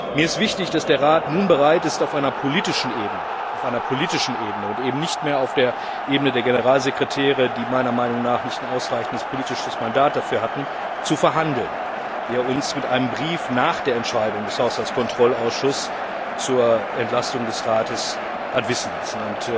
Mir ist wichtig, dass der Rat nun bereit ist, auf einer politischen Ebene und nicht mehr auf der Ebene der Generalsekretäre die meiner Meinung nach kein ausreichendes politisches Mandat dafür hatten zu verhandeln, was er uns durch ein Schreiben nach der Entscheidung des Haushaltskontrollausschusses zur Entlastung des Rates hat wissen lassen.